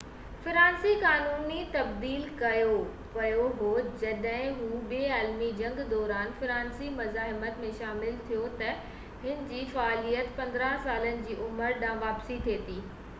فرانسيسي قانون تبديل ڪيو ويو هو جڏهن هُو ٻي عالمي جنگ دوران فرانسيسي مزاحمت ۾ شامل ٿيو ته هِن جي فعاليت 15سالن جي عمر ڏانهن واپس ٿي وئي